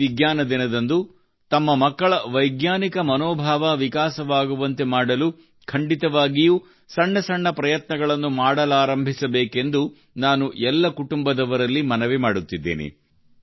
ಈ ವಿಜ್ಞಾನ ದಿನದಂದು ತಮ್ಮ ಮಕ್ಕಳ ವೈಜ್ಞಾನಿಕ ಮನೋಭಾವ ವಿಕಾಸವಾಗುವಂತೆ ಮಾಡಲು ಖಂಡಿತವಾಗಿಯೂ ಸಣ್ಣ ಸಣ್ಣ ಪ್ರಯತ್ನಗಳನ್ನು ಮಾಡಲಾರಂಭಿಸಬೇಕೆಂದು ನಾನು ಎಲ್ಲ ಕುಟುಂಬದವರಲ್ಲಿ ಮನವಿ ಮಾಡುತ್ತಿದ್ದೇನೆ